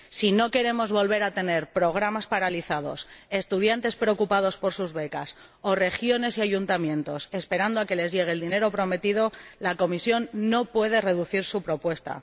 Si no queremos volver a tener programas paralizados, estudiantes preocupados por sus becas o regiones y ayuntamientos esperando a que les llegue el dinero prometido, la Comisión no puede reducir su propuesta.